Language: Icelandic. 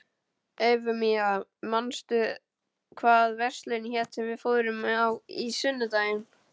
Eufemía, manstu hvað verslunin hét sem við fórum í á sunnudaginn?